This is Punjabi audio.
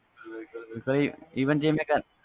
even ਜੇ ਮੈਂ